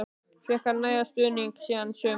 Fékk hann nægan stuðning síðasta sumar?